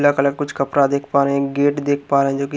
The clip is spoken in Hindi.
कुछ कपड़ा देख पा रहे हैं गेट देख पा रहे हैं जोकि --